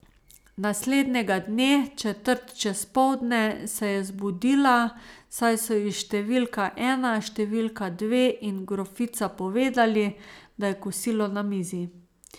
Naslednjega dne, četrt čez poldne, se je zbudila, saj so ji številka ena, številka dve in grofica povedali, da je kosilo na mizi.